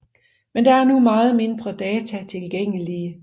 Men der er nu meget mindre data tilgængelige